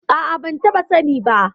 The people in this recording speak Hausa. A'a, ban taɓa sani ba.